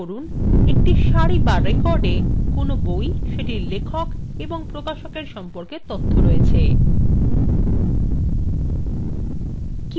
লক্ষ্য করুন প্রতিটি সারি বা recordএ কোনো বই সেটির লেখক এবং প্রকাশকের সম্পর্কে তথ্য রয়েছে